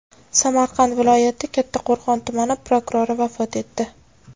Samarqand viloyati Kattaqo‘rg‘on tumani prokurori vafot etdi.